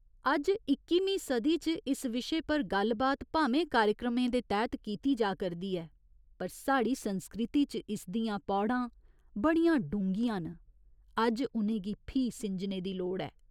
अज्ज इ'क्कीमीं सदी च इस विशे पर गल्ल बात भामें कार्यक्रमें दे तैह्त कीती जा करदी ऐ पर साढ़ी संस्कृति च इसदियां पौड़ां बड़ियां डूंह्गियां न, अज्ज उ'नें गी फ्ही सिंजने दी लोड़ ऐ।